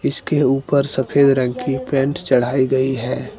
इसके ऊपर सफेद रंग की पेंट चढ़ाई गई है।